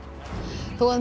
þó að